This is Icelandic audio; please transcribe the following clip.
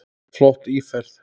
Flott íferð.